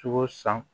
Sogo san